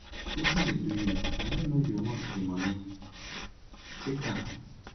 wetin dey do you i no no you want the money take am